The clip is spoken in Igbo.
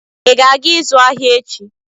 ị ga-aga ịzụ ahịa echi?